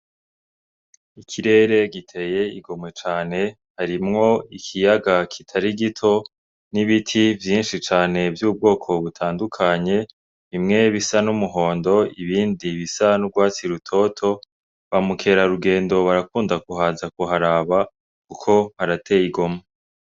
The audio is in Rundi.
Ikirere giteye igomwe cane. Harimwo ikiyaga kitari gito n'ibiti vyinshi cane vy'ubwoko butandukanye, bimwe bisa n'umuhondo, ibindi bisa n'urwatsi rutoto. Ba mukerarugendo barakunda kuhaza kuharaba kuko harateye igomwe.